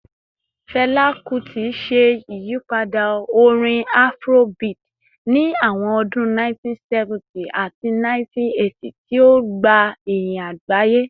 Fẹla Kuti ṣe iyipada orin Afrobeat ni awọn ọdun 1970 ati 1980, ti o gba iyin agbaye.